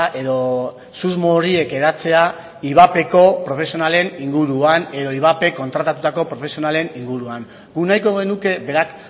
edo susmo horiek hedatzea ivapeko profesionalen inguruan edo ivapek kontratatutako profesionalen inguruan guk nahiko genuke berak